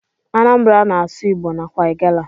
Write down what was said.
Anambra na asụ igbo nakwa igala.